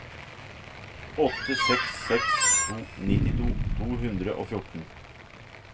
åtte seks seks to nittito to hundre og fjorten